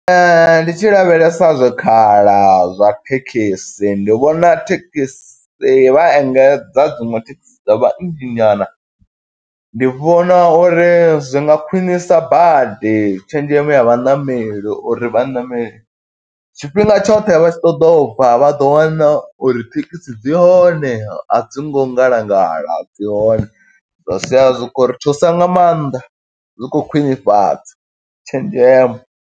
Ndi tshi lavhelesa zwikhala zwa thekhisi, ndi vhona thekisi vha engedza dziṅwe thekhisi, dza vha nnzhi nyana. Ndi vhona uri zwi nga khwiṋisa badi tshenzhemo ya vhaṋameli uri vhaṋameli tshifhinga tshoṱhe, vha tshi ṱoḓa ubva vha ḓo wana uri thekhisi dzi hone. A dzi ngo ngalangala, dzi hone. Zwa sia zwi khou ri thusa nga maanḓa zwi khou khwiṋifhadza tshenzhemo.